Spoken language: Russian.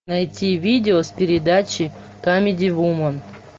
найти видео с передачи камеди вумен